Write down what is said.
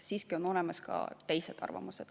Siiski on olemas ka teised arvamused.